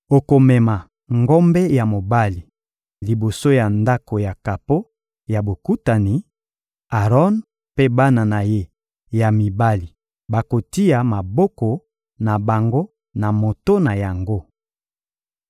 Okomema ngombe ya mobali liboso ya Ndako ya kapo ya Bokutani; Aron mpe bana na ye ya mibali bakotia maboko na bango na moto na yango.